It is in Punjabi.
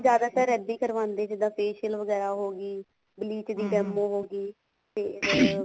ਜਿਆਦਾਤਰ ਇੱਦਾਂ ਹੀ ਕਰਵਾਉਂਦੇ ਜਿੱਦਾਂ facial ਵਗੈਰਾ ਹੋਗੀ bleach ਦੀ demo ਹੋਗੀ ਫ਼ੇਰ